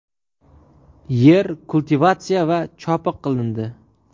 yer kultivatsiya va chopiq qilindi.